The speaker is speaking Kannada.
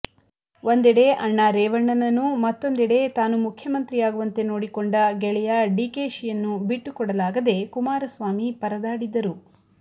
ಒಂದೆಡೆ ಅಣ್ಣ ರೀವಣ್ಣನನ್ನು ಮತ್ತೊಂದೆಡೆ ತಾನು ಮುಖ್ಯಮಂತ್ರಿಯಾಗುವಂತೆ ನೋಡಿಕೊಂಡ ಗೆಳೆಯ ಡಿಕೆಶಿ ಯನ್ನು ಬಿಟ್ಟುಕೊಡಲಾಗದೆ ಕುಮಾರಸ್ವಾಮಿ ಪರದಾಡಿದ್ದರು